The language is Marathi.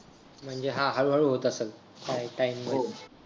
म्हणजे हा हळूहळू होत असल काय आहे काय नाही